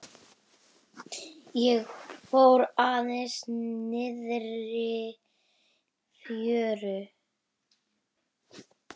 Ég fór aðeins niðrí fjöru.